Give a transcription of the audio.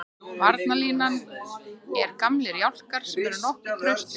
Varnarlínan er gamlir jálkar sem eru nokkuð traustir.